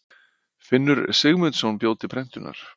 Finnur Sigmundsson bjó til prentunar.